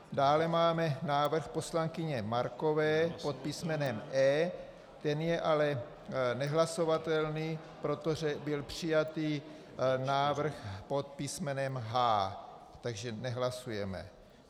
Dále máme návrh poslankyně Markové pod písmenem E, ten je ale nehlasovatelný, protože byl přijatý návrh pod písmenem H, takže nehlasujeme.